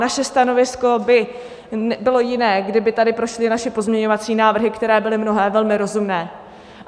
Naše stanovisko by bylo jiné, kdyby tady prošly naše pozměňovací návrhy, které byly mnohé velmi rozumné.